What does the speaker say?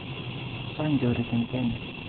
Chag chorik en kenya